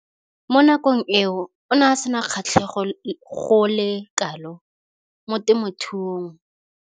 Mo nakong eo o ne a sena kgatlhego go le kalo mo temothuong.